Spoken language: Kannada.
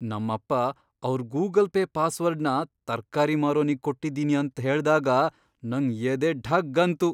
ನಮ್ಮಪ್ಪ ಅವ್ರ್ ಗೂಗಲ್ ಪೇ ಪಾಸ್ವರ್ಡ್ನ ತರ್ಕಾರಿ ಮಾರೋನಿಗ್ ಕೊಟ್ಟಿದೀನಿ ಅಂತ್ ಹೇಳ್ದಾಗ ನಂಗ್ ಎದೆ ಢಗ್ ಅಂತು.